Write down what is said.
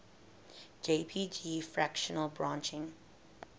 jpg fractal branching